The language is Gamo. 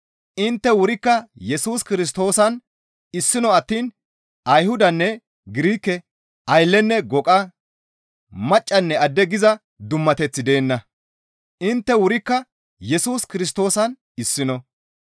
Intte wurikka Yesus Kirstoosan issino attiin Ayhudanne Girike, Ayllenne goqa, maccanne adde giza dummateththi deenna; intte wurikka Yesus Kirstoosan issino.